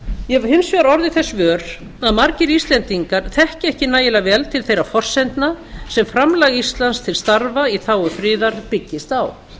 ég hef hins vegar orðið þess vör að margir íslendingar þekkja ekki nægilega vel til þeirra forsendna sem framlag íslands til starfa í þágu friðar byggist á